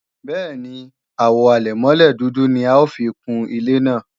Bẹ́ẹ̀ni, Àwo àlẹ̀mọ́lẹ̀ dúdú ni a ó fi kun ilé náà